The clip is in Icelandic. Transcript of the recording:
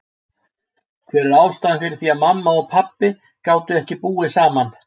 Hver var ástæðan fyrir því að mamma og pabbi gátu ekki búið saman?